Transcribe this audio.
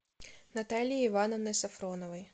натальей ивановной софроновой